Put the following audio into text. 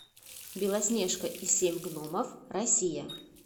белоснежка и семь гномов россия